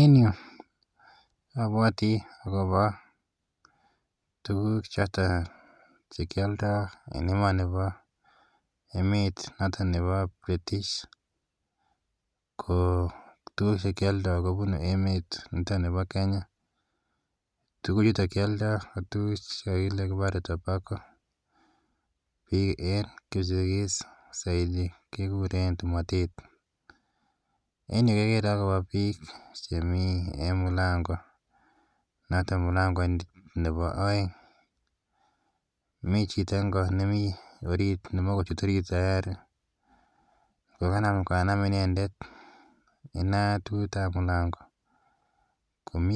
En yu apwati akopa tuguk chotok che ki aldai en emanipo , emet notok nepo British. Ko tugul che kialdai kopunu emanito pa Kenya. Tuguchuto kialdai ko tuguk che kipare tobacco. Piik en Kipsigis saizi kekuren tomatet. En yu kekere akopa pik chemi en mlango notok mlangoit nepo aeng'. Mitei chito konorit ne mae ko chut orit tayari ko kanam inendet inatut ap mlango ko mi